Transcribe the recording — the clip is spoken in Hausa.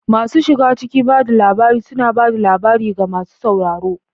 Masu shiga cikin ba da labari suna ba da labari ga masu sauraro.